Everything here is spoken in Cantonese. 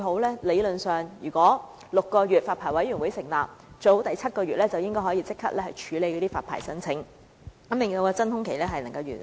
理論上，如果發牌委員會在法例生效6個月後成立，最好第七個月便能處理發牌申請，縮短真空期。